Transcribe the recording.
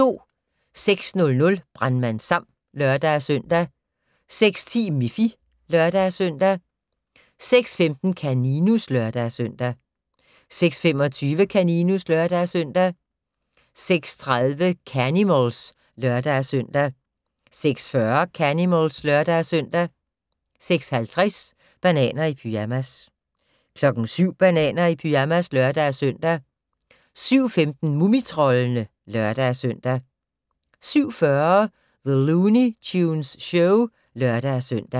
06:00: Brandmand Sam (lør-søn) 06:10: Miffy (lør-søn) 06:15: Kaninus (lør-søn) 06:25: Kaninus (lør-søn) 06:30: Canimals (lør-søn) 06:40: Canimals (lør-søn) 06:50: Bananer i pyjamas 07:00: Bananer i pyjamas (lør-søn) 07:15: Mumitroldene (lør-søn) 07:40: The Looney Tunes Show (lør-søn)